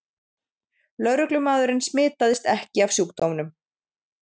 Lögreglumaðurinn smitaðist ekki af sjúkdómnum